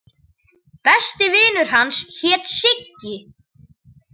Besti vinur hans hét Siggi.